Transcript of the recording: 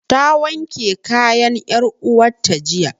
Ta wanke kayan 'yar uwarta jiya.